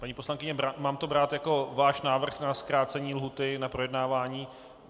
Paní poslankyně, mám to brát jako váš návrh na zkrácení lhůty na projednávání?